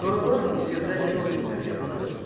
Sonralar Misirdə heroqliflər yarandı.